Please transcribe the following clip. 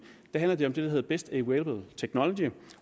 handler det om det der hedder best available technology